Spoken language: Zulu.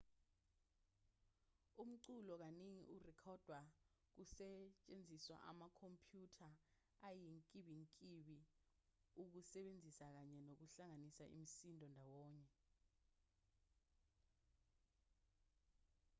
umculo kaningi urekhodwa kusetshenziswa amakhompyutha ayinkimbinkimbi ukusebenzisa kanye nokuhlanganisa imisindo ndawonye